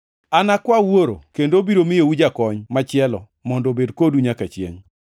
Anakwa Wuoro, kendo obiro miyou Jakony machielo mondo obed kodu nyaka chiengʼ.